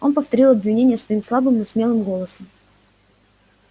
он повторил обвинения свои слабым но смелым голосом